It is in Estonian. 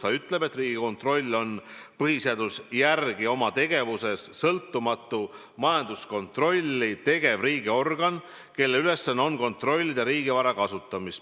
Ta ütleb, et Riigikontroll on põhiseaduse järgi oma tegevuses sõltumatu majanduskontrolli tegev riigiorgan, kelle ülesanne on kontrollida riigivara kasutamist.